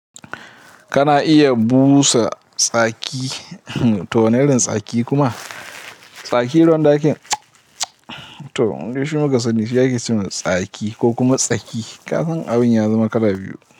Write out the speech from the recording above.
Kana iya busa tsaki, ahm to wani irin tsaki kuma? Tsaki irin wanda to mude shi muka sani shi ake cewa tsaki ko kuma tsaki kasan abun ya zama kala biyu.